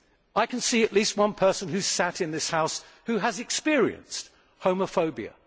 I can see at least one person sat in this house who has experienced homophobia.